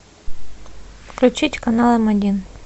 включить канал м один